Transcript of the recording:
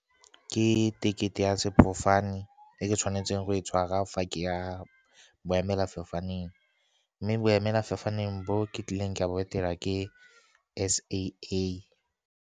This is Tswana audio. Ke tekete ya sefofane e ke tshwanetseng go e tshwara fa ke ya boemelafofaneng, mme boemelafofaneng bo ke tlileng ka bo etela ke S_A_A.